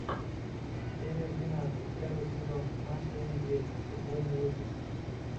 серия двенадцать первый сезон маша и медведь футбольный выпуск